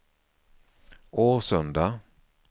Årsunda